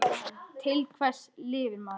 Til hvers lifir maður?